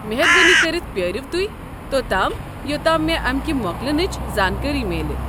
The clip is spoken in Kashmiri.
مہربٲنی كرِتھ پیٲرِیو توہہ، توتام یوتام مے امہِ كہِ موكلنٕچہِ زانكٲری میلہِ ۔